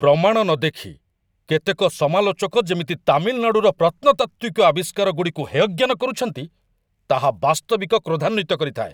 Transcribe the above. ପ୍ରମାଣ ନ ଦେଖି କେତେକ ସମାଲୋଚକ ଯେମିତି ତାମିଲନାଡ଼ୁର ପ୍ରତ୍ନତାତ୍ତ୍ୱିକ ଆବିଷ୍କାରଗୁଡ଼ିକୁ ହେୟଜ୍ଞାନ କରୁଛନ୍ତି, ତାହା ବାସ୍ତବିକ କ୍ରୋଧାନ୍ୱିତ କରିଥାଏ।